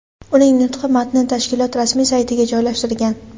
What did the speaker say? Uning nutqi matni tashkilot rasmiy saytiga joylashtirilgan.